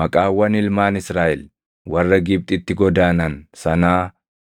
Maqaawwan ilmaan Israaʼel warra Gibxitti godaanan sanaa